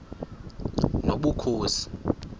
nobukhosi